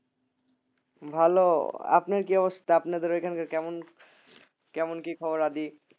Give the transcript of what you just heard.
ভালো আপনার কি অবস্থা আপনাদের ওখানকার কেমন কেমন কি খবর আদি